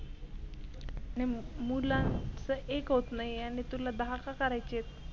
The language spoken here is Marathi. मुलाचं एक होत नाही आणि तुला दहा का करायेची आहे?